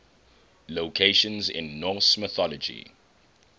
locations in norse mythology